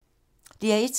DR1